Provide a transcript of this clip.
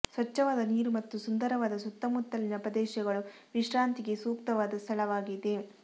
ಸ್ವಚ್ಛವಾದ ನೀರು ಮತ್ತು ಸುಂದರವಾದ ಸುತ್ತಮುತ್ತಲಿನ ಪ್ರದೇಶಗಳು ವಿಶ್ರಾಂತಿಗೆ ಸೂಕ್ತವಾದ ಸ್ಥಳವಾಗಿದೆ